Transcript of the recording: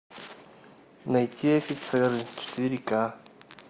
найти офицеры четыре ка